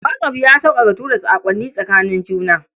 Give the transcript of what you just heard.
WhatsApp ya sauƙaƙa tura saƙonnin tsakanin juna.